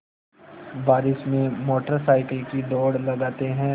बारिश में motorcycle की दौड़ लगाते हैं